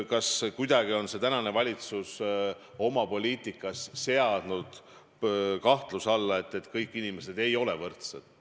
Kas kuidagi on tänane valitsus oma poliitikas seadnud kahtluse alla selle, et kõik inimesed ei ole võrdsed?